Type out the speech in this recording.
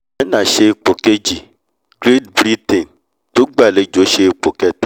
china ṣe ipò kejì great britain tó gbà’lejò ṣe ipò kẹta